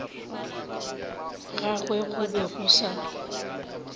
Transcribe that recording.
gagwe go be go sa